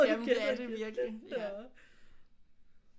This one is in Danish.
Jamen det er det virkelig